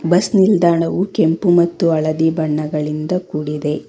Bus ನಿಲ್ದಾಣವು ಕೆಂಪು ಮತ್ತು ಹಳದಿ ಬಣ್ಣಗಳಿಂದ ಕೂಡಿದೆ.